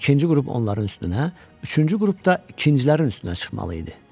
İkinci qrup onların üstünə, üçüncü qrupda ikincilərin üstünə çıxmalı idi.